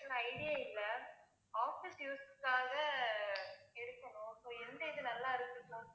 எனக்கு idea இல்ல office use க்காக ஆஹ் எடுக்கணும் so எந்த இது நல்லா இருக்கும்